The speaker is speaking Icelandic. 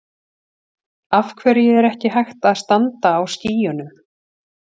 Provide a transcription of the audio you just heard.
Af hverju er ekki hægt að standa á skýjunum?